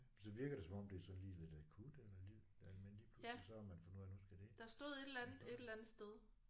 Så virker det som om det er sådan lige lidt akut eller lige at man lige pludselig så har man fundet ud af nu skal det og så